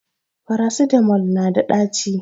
farasitamol nada daci